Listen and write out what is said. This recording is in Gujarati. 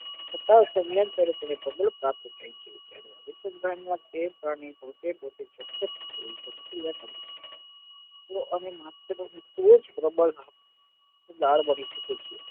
તથા તેમની જેના અનુસંધાન માં બે પ્રાણીઓ ચોક્કસ જે લાળ